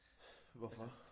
Hvorfor